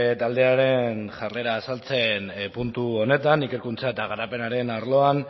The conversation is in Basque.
taldearen jarrera azaltzen puntu honetan ikerkuntza eta garapenaren arloan